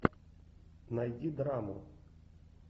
найди драму